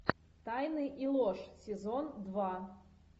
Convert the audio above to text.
тайны и ложь сезон два